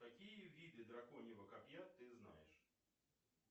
какие виды драконьего копья ты знаешь